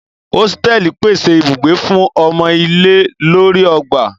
Osteli pese ibugbe fun omo ile lori ogba.